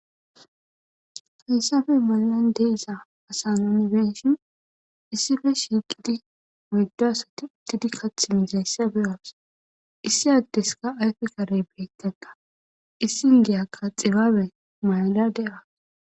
haysafe malan deesa asaminebenshin issife shiiqidi moyddo asati uttidi kath mizayssabe was issi addeska ayfe karey beyttegga issin giyakka xibaabe mayla de7as